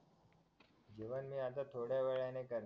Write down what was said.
जेवण मी आता थोड्या वेळाने करणार